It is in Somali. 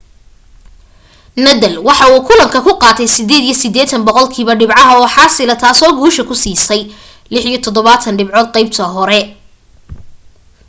nadal waxa uu kulanka ka qaatay 88% dhibcaha oo xaasila taasoo guusha ku siisay 76 dhibcood qaybta hore